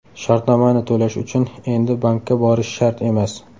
Shartnomani to‘lash uchun endi bankka borish shart emas!.